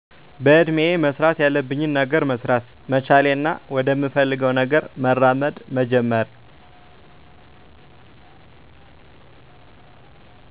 በእድሜየ መስራት ያለብኝን ገነር መሰራት መቻሌና ወደምፈልገውነገር መራመድ መጀመሬ